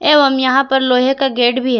एवं यहां पर लोहे का गेट भी है।